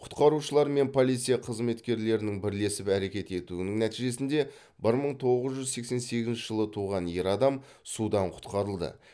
құтқарушылар мен полиция қызметкерлерінің бірлесіп әрекет етуінің нәтижесінде бір мың тоғыз жүз сексен сегізінші жылы туған ер адам судан құтқарылды